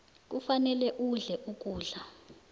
kufanele udle ukudla